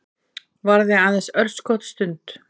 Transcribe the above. Varaði aðeins örskotsstund.